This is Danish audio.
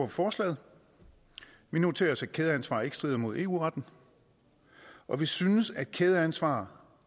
forslaget vi noterer os at kædeansvar ikke strider mod eu retten og vi synes at kædeansvar